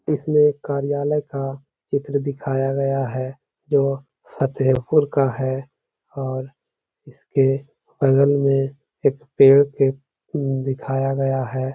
इसमें कार्यालय का चित्र दिखाया गया है जो फतेहपुर का है और इसके बगल में एक पेड़ के दिखाया गया है।